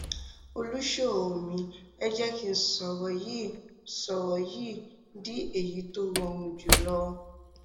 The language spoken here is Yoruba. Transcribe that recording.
olùṣòro mi ẹ jẹ kí n sọrọ yìí n sọrọ yìí di èyí tí ó rọrùn jù lọ